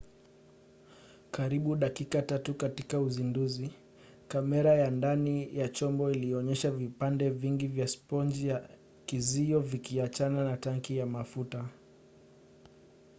karibu dakika 3 katika uzinduzi kamera ya ndani ya chombo ilionyesha vipande vingi vya sponji ya kizio vikiachana na tanki ya mafuta